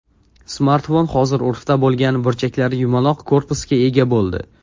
Smartfon hozir urfda bo‘lgan burchaklari yumaloq korpusga ega bo‘ldi.